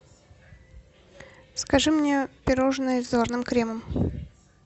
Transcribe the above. закажи мне пирожное с заварным кремом